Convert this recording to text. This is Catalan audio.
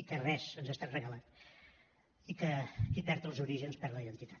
i que res ens ha estat regalat i que qui perd els orígens per la identitat